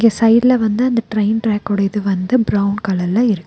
இங்க சைடுல வந்து அந்த ட்ரெயின் ட்ராக் ஓட இது வந்து பிரவுன் கலர்ல இருக் --